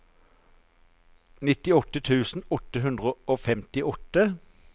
nittiåtte tusen åtte hundre og femtiåtte